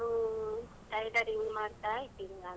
ಆ ಅದೇಯಾ job continue ಮಾಡುದು?